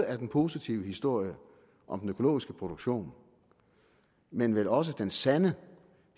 er den positive historie om den økologiske produktion men vel også den sande